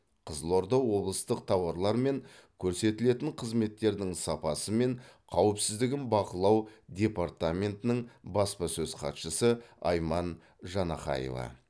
қызылорда облыстық тауарлар мен көрсетілетін қызметтердің сапасы мен қауіпсіздігін бақылау департаментінің баспасөз хатшысы айман жанахаева